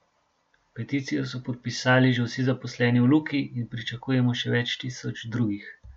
Peticijo so podpisali že vsi zaposleni v Luki in pričakujemo še več tisoč drugih.